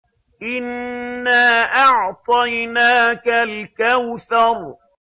إِنَّا أَعْطَيْنَاكَ الْكَوْثَرَ